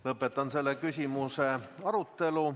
Lõpetan selle küsimuse arutelu.